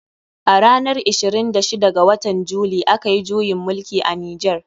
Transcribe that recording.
A ranar ishirin da shida ga watan july. a kayi juyin mulki a nijar.